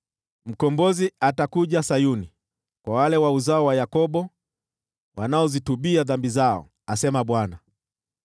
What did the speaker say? “Mkombozi atakuja Sayuni, kwa wale wa Yakobo wanaozitubu dhambi zao,” asema Bwana .